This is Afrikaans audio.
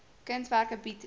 kunswerke bied dikwels